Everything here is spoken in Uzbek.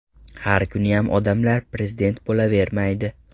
Har kuniyam odamlar prezident bo‘lavermaydi.